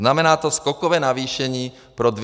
Znamená to skokové navýšení pro 200 000 osob.